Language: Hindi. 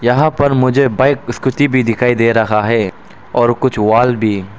यहां पर मुझे बाइक स्कूटी भी दिखाई दे रहा है और कुछ वॉल भी।